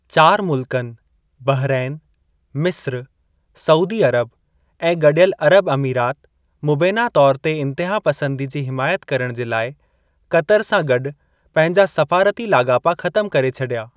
चार मुल्कनि, बहरैन, मिस्र, सऊदी अरब ऐं गडि॒यलु अरब अमीरात मुबैना तौर ते इंतिहापसंदी जी हिमायत करणु जे लाइ कतर सां गॾु पंहिंजा सफ़ारती लाॻापा ख़तम करे छडि॒या।